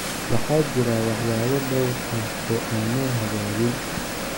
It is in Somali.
Waxaa jira waxyaabo dhowr ah oo aan noo hagaagin.